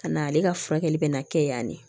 Ka na ale ka furakɛli bɛ na kɛ yan